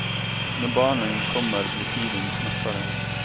När barnen kommer blir tiden knappare.